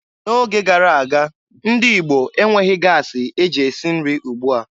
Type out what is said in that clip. N'oge gara aga, ndị Igbo enweghị gaasị e ji esi nri ugbua.